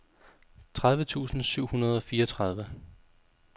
tredive tusind syv hundrede og fireogtredive